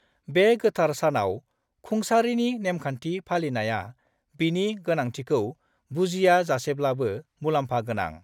बे गोथार सानाव खुंसारिनि नेमखान्थि फालिनाया, बिनि गोनांथिखौ बुजियाजासेब्लाबो, मुलाम्फा गोनां।